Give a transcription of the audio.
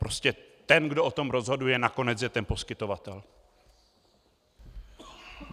Prostě ten, kdo o tom rozhoduje nakonec, je ten poskytovatel.